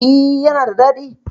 E, yana da daɗi.